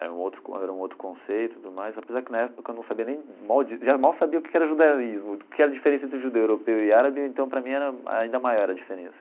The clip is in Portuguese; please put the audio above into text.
Era um outro con era um outro conceito e tudo mais, apesar que na época eu não sabia nem mal já mal sabia o que era judaísmo, o que era a diferença entre judeu europeu e árabe, então para mim era ainda maior a diferença.